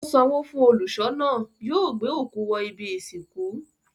Ó sanwó fún olùṣọ́ náà. Yóò gbé òkú wọ ibi-ìsìnkú.